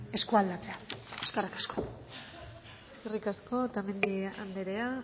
eskualdatzea eskerrik asko eskerrik asko otamendi anderea